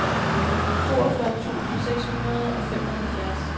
toogfyrre tusind seks hundrede og femoghalvfjerds